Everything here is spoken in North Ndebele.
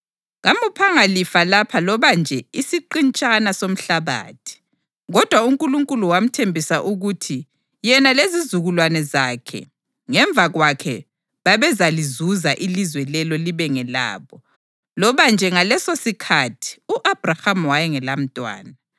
Kamuphanga lifa lapha loba nje isiqintshana somhlabathi. Kodwa uNkulunkulu wamthembisa ukuthi yena lezizukulwane zakhe ngemva kwakhe babezalizuza ilizwe lelo libe ngelabo, loba nje ngalesosikhathi u-Abhrahama wayengelamntwana.